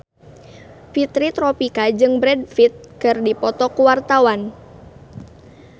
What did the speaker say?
Fitri Tropika jeung Brad Pitt keur dipoto ku wartawan